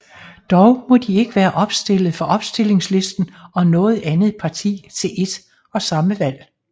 Dog må de ikke være opstillet for Opstillingslisten og noget andet parti til ét og samme valg